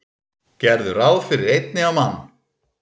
Gerðu ráð fyrir einni á mann.